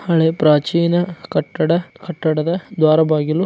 ಹಳೆ ಪ್ರಾಚೀನ ಕಟ್ಟಡ ಕಟ್ಟಡದ ದ್ವಾರ ಬಾಗಿಲು.